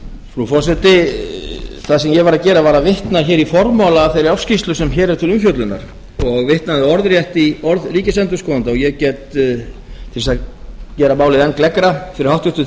frú forseti það sem ég var að gera var að vitna hér í formála að þeirri ársskýrslu sem hér er til umfjöllunar og vitnaði orðrétt í orð ríkisendurskoðanda ég get til að gera málið enn gleggra fyrir háttvirtum